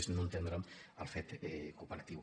és no entendre el fet cooperatiu